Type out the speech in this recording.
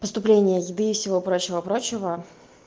поступление еды и всего прочего прочего